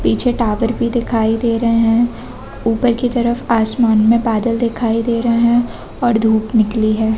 पीछे टावर भी दिखाई दे रहे है ऊपर की तरफ आसमान में बादल दिखाई दे रहे है और धूप निकली है।